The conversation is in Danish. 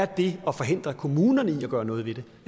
det at forhindre kommunerne i at gøre noget ved det